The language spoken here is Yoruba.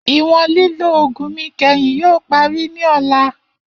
Iwọn lilo oogun mi kẹhin yoo pari ni ọla.